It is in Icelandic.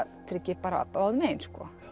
tryggir bara báðum megin